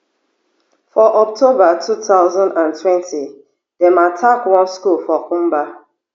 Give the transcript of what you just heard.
for october two thousand and twenty dem attack one school for kumba